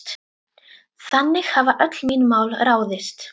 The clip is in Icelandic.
Þannig hafa öll mín mál ráðist.